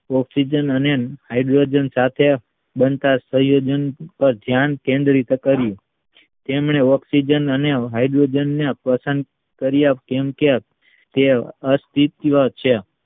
Oxygen અને hydrogen સાથે બનતા સંયોજક ધ્યાન કેન્દ્રિત કર્યું તેમને ઓકસીજન અને હાઇડ્રોજન પ્રોસન કાર્ય કેમ કે એ અટવિસય છે.